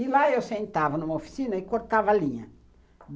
E lá eu sentava numa oficina e cortava a linha.